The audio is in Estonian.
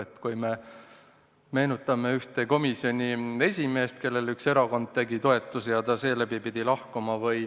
Meenutame näiteks ühte komisjoni esimeest, kellele üks erakond andis toetusi ja kes seetõttu pidi lahkuma.